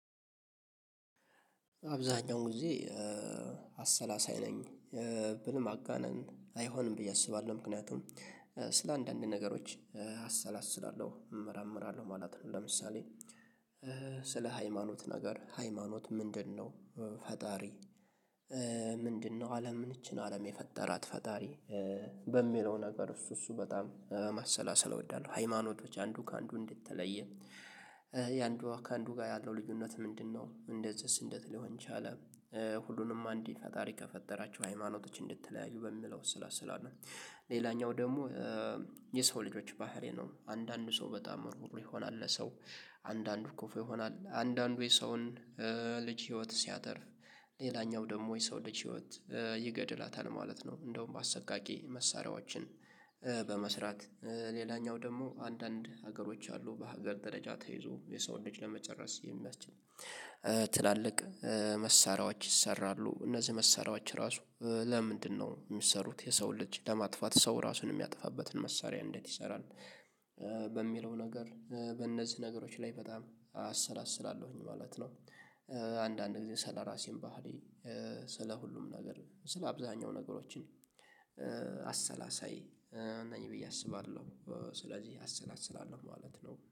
አብዛኛውን ጊዜ አሰላሳይ ነኝ ብል ማጋነን አይሆንም ብዬ አስባለሁ ምክንያቱም ስለ አንዳንድ ነገሮች አሰላስላለሁ እመራመራለሁ ማለት ነው። ለምሳሌ ስለ ሃይማኖት ነገር ሃይማኖት ምንድነው? ፈጣሪ ምንድነው? አለምን እቺን አለም የፈጠራት ፈጣሪ በሚለው ነገር እሱ እሱ በጣም ማሰላሰል እወዳለሁ። ሃይማኖቶች አንዱ ከአንዱ እንዴት ተለየ? የአንዱ ከአንዱ ጋር ያለው ልዩነት ምንድነው? እንደዚህስ እንዴት ሊሆን ቻለ? ሁሉንም አንድ ፈጣሪ ከፈጠራቸው ሃይማኖቶች እንዴት ተለያዩ በሚለው አሰላስለሁ። ሌላኛው ደግሞ የሰው ልጆች ባህሪ ነው አንዳንድ ሰው በጣም ሩህሩህ ይሆናል ለሰው አንዳንዱ ክፍ ይሆናል አንዳንዱ የሰውን ልጅ ህይወት ሲያተርፍ ሌላኛው ደግሞ የሰው ልጅ ህይወት ይገድላታል ማለት ነው። እንደውም አሰቃቂ መሳሪያዎችን በመስራት ሌላኛው ደግሞ አንዳንድ ሀገሮች አሉ በሀገር ደረጃ ተይዞ የሰውን ልጅ ለመጨረስ የሚያስችል ትላልቅ መሳሪያዎች ይሰራሉ። እነዚህ መሳሪያዎች ራሱ ለምንድነው የሚሰሩት የሰው ልጅ ለማጥፋት ሰው ራሱን የሚያጠፋበትን መሳሪያ እንዴት ይሰራል? በሚለው ነገር በእነዚህ ነገሮች ላይ በጣም አሰላስላለሁኝ ማለት ነው። አንዳንድ ጊዜ ስለራሴም ባህሌ ስለሁሉም ነገር ስለ አብዛኛው ነገሮችን አሰላሳይ ነኝ ብዬ አስባለሁ። ስለዚህ አሰናስላለሁ ማለት ነው